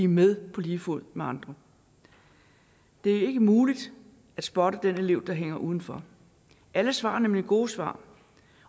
med på lige fod med andre det er ikke muligt at spotte den elev der hænger udenfor alle svar er nemlig gode svar